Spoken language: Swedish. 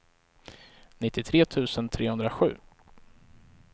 nittiotre tusen trehundrasju